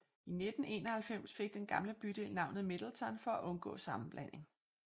I 1991 fik den gamle bydel navnet Middleton for at undgå sammenblanding